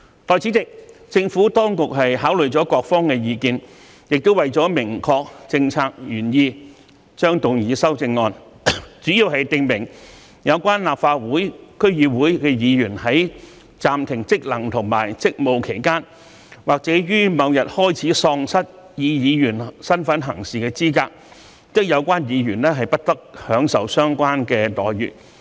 代理主席，政府當局考慮了各方的意見，也為了明確政策原意，將會動議修正案，主要訂明有關立法會/區議會議員如在暫停職能和職務期間或於某日開始喪失以議員身份行事的資格，則不得享受相應待遇。